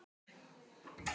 Ég fór í apótek með prufu.